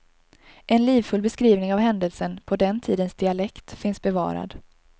En livfull beskrivning av händelsen på den tidens dialekt finns bevarad.